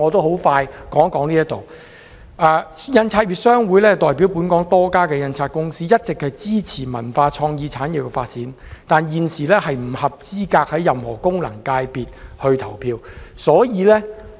香港印刷業商會代表本港多家印刷公司，一直支持文化創意產業的發展，但現時不合資格在任何功能界別投票。